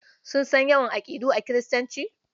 Sun san yawan aƙidu a Kiristanci?